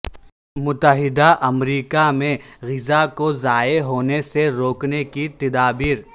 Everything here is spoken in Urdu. متحدہ امریکہ میں غذا کو ضائع ہونے سے روکنے کی تدابیر